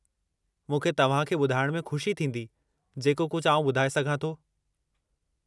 मूंखे तव्हांखे ॿुधाइणु में खु़शी थींदी, जेको कुझ आउं ॿुधाए सघां थो।